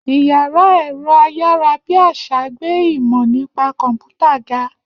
Iyàrá èro ayarabiasa gbé ìmọ nípa kọmputa ga